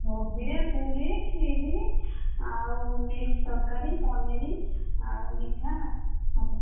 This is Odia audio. ଭୋଜିରେ ପୁରୀ